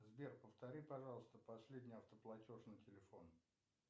сбер повтори пожалуйста последний автоплатеж на телефон